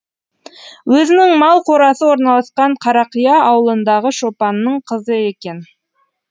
өзінің мал қорасы орналасқан қарақия ауылындағы шопанның қызы екен